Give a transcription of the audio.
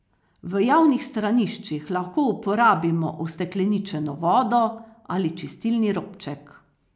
V javnih straniščih lahko uporabimo ustekleničeno vodo ali čistilni robček.